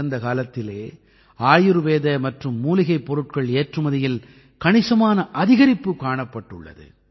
கடந்த காலத்திலே ஆயுர்வேத மற்றும் மூலிகைப் பொருட்கள் ஏற்றுமதியில் கணிசமான அதிகரிப்பு காணப்பட்டுள்ளது